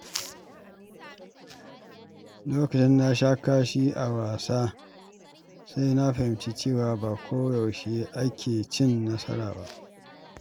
Lokacin da na sha kashi a wasa, sai na fahimci cewa ba koyaushe ake cin nasara ba.